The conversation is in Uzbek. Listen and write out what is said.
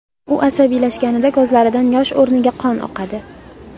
U asabiylashganida ko‘zlaridan yosh o‘rniga qon oqadi.